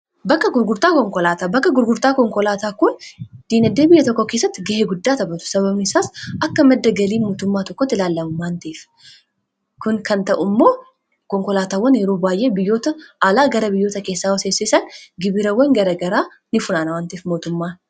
bakka gurgurtaa konkolaataa kun diinagdee biyya tokko keessatti ga'ee guddaa taphatu sababnisaas akka madda galii mootummaa tokkotti ilaallamu waanta'eef kun kan ta'uu immoo konkolaatawwan yeroo baay'ee biyyoota aalaa gara biyyoota keessaa yoo seensisan gibirawwan gara garaa ni funaanawaanta'eef mootummaan